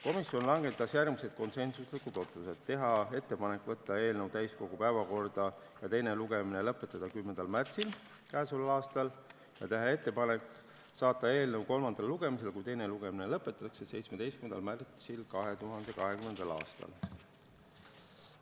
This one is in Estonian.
Komisjon langetas järgmised konsensuslikud otsused: teha ettepanek saata eelnõu täiskogu päevakorda ja teine lugemine lõpetada 10. märtsil k.a ja teha ettepanek saata eelnõu kolmandale lugemisele, kui teine lugemine lõpetatakse, 17. märtsiks 2020. aastal.